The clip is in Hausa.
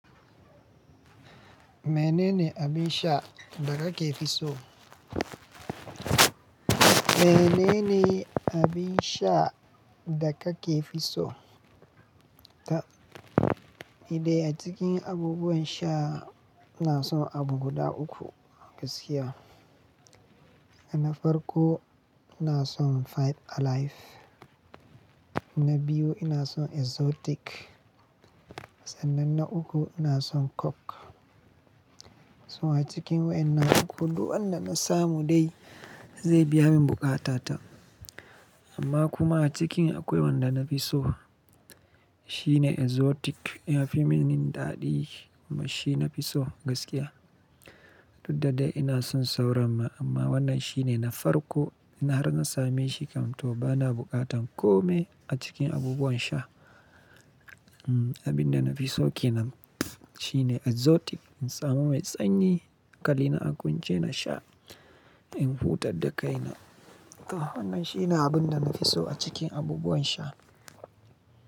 Mene ne abin sha, da kake fi so? Mene ne abin sha da kake fi so? Tab. Ni dai a cikin abubuwan sha, ina son abu guda uku, gaskiya. Na farko ina son Five Alive, na biyu ina son Exotic sannan na uku ina son Coke. So a cikin waɗannan uku, duk wanda na samu dai, zai biya min buƙata ta. Amma kuma a cikin akwai wanda na fi so, shine Exotic. Yafi min daɗi, kuma shi na fi so gaskiya. Duk da dai ina son sauran ma, amma wannan shine na farko. Ina har na same shi kam, to bana buƙatan kome, a cikin abubuwan sha. Abin da na fi so kenan, shine Exotic. In samu mai sanyi, hakali na a kwance na sha, in huta da kaina. Wannan shine abin da na fi so a cikin abubuwan sha.